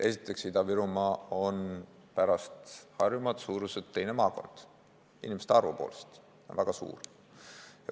Esiteks, Ida-Virumaa on pärast Harjumaad suuruselt teine maakond, inimeste arvu poolest on ta väga suur.